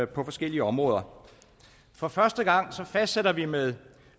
på forskellige områder for første gang fastsætter vi med